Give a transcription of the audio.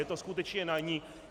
Je to skutečně na ní.